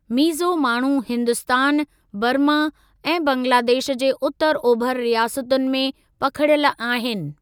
मीज़ो माण्हू हिन्दुस्तान, बर्मा ऐं बंगलादेश जे उतर ओभर रियासतुनि में पखिड़ियल आहिनि।